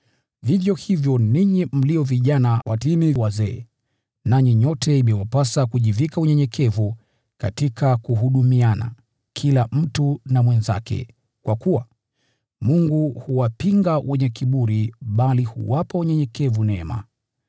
Vivyo hivyo, ninyi mlio vijana watiini wazee. Nanyi nyote imewapasa kujivika unyenyekevu kila mtu kwa mwenzake, kwa kuwa, “Mungu huwapinga wenye kiburi, lakini huwapa wanyenyekevu neema.”